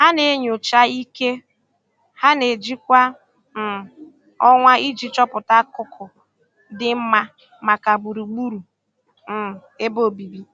Ha na-enyocha ike ha na-eji kwa um ọnwa iji chọpụta akụkụ dị mma maka gbugburu um ebe obibi.